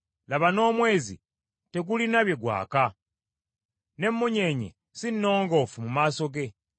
Laba n’omwezi tegulina bye gwaka, n’emmunyeenye si nnongoofu mu maaso ge.